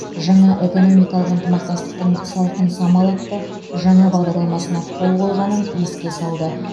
жаңа экономикалық ынтымақтастықтың салқын самал атты жаңа бағдарламасына қол қойғанын еске салды